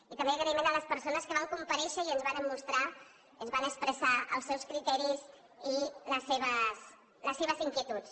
i també agraïment a les persones que van comparèixer i ens varen mostrar ens van expressar els seus criteris i les seves inquietuds